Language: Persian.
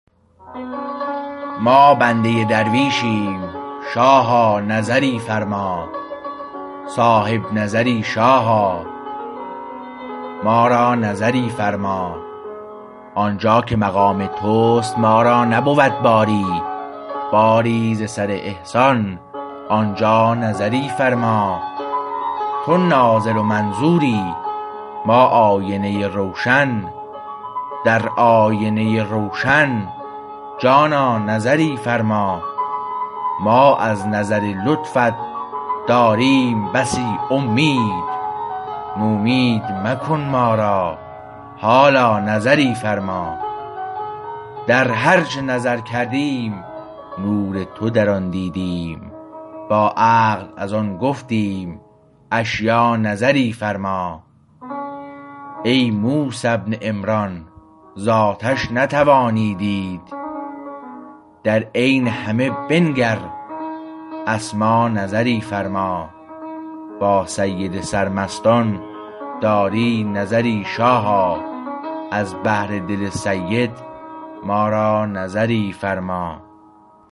ما بنده درویشیم شاها نظری فرما صاحب نظری شاها ما را نظری فرما آنجا که مقام تست ما را نبود باری باری ز سر احسان آنجا نظری فرما تو ناظر و منظوری ما آینه روشن در آینه روشن جانا نظری فرما ما از نظر لطفت داریم بسی امید نومید مکن ما را حالا نظری فرما در هر چه نظر کردیم نور تو در آن دیدیم با عقل از آن گفتیم اشیا نظری فرما ای موسی بن عمران ز آتش نتوانی دید در عین همه بنگر اسما نظری فرما با سید سر مستان داری نظری شاها از بهر دل سید ما را نظری فرما